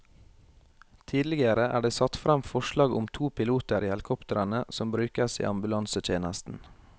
Tidligere er det satt frem forslag om to piloter i helikoptrene som brukes i ambulansetjenesten.